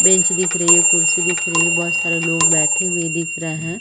Bench दिख रही है कुर्सी दिख रही है बहोत सारे लोग बैठे हुए दिख रहै है।